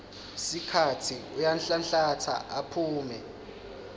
sikhatsi uyanhlanhlatsa aphume